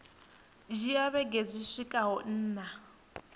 dzhia vhege dzi swikaho nṋa